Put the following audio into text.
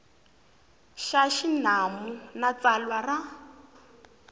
xa xinawu na tsalwa ra